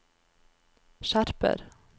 skjerper